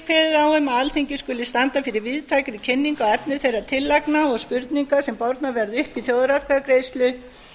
kveðið á um að alþingi skuli standa fyrir víðtækri kynningu á efni þeirra tillagna og spurningar sem bornar verða upp í þjóðaratkvæðagreiðslu